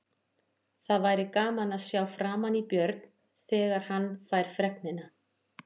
Það væri gaman að sjá framan í Björn, þegar hann fær fregnina.